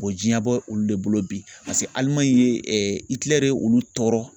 jiɲɛ bɔ olu de bolo bi ALIMAŊI ye olu tɔɔrɔ.